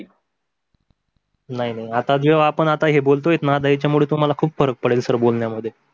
नाही नाही आता आपण जे काही बोलता ना याच्या मुळे तुम्हाला खूप फरक पडेल सर बोलण्या मध्ये.